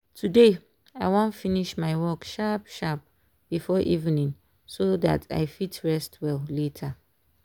today i wan finish my work sharp sharp before evening so that i fit rest well later.